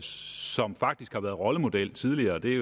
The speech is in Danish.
som faktisk har været rollemodel tidligere det er